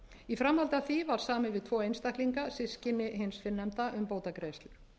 í framhaldi af því var samið við tvo einstaklinga systkini hins fyrrnefnda um bótagreiðslur